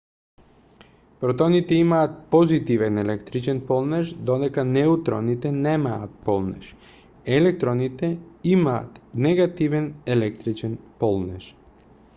протоните имаат позитивен електричен полнеж додека неутроните немаат полнеж електроните имаат негативен електрилчен полнеж